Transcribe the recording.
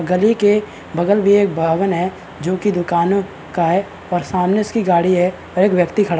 गली के बगल में एक भवन है जो की दुकानों का है और सामने उसकी गाड़ी और एक व्यक्ति खड़ा है।